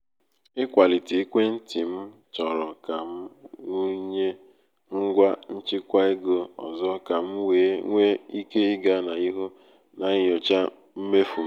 ịkwalite um ekwentị m chọrọ ka m wụnye ngwa nchịkwa ego ọzọ ka m wee nwee ike ịga n’ihu na-enyocha mmefu m.